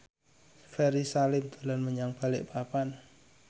Ferry Salim dolan menyang Balikpapan